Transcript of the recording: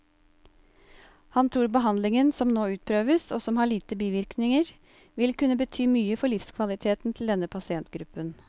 Han tror behandlingen som nå utprøves, og som har lite bivirkninger, vil kunne bety mye for livskvaliteten til denne pasientgruppen.